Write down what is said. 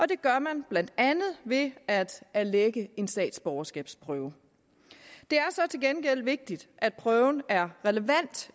det gør man blandt andet ved at erlægge en statsborgerskabsprøve til gengæld vigtigt at prøven er relevant